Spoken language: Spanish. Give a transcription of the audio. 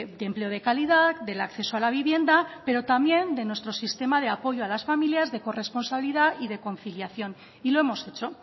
de empleo de calidad del acceso a la vivienda pero también de nuestro sistema de apoyo a las familias de corresponsabilidad y de conciliación y lo hemos hecho